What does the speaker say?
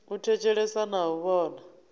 u thetshelesa na u vhona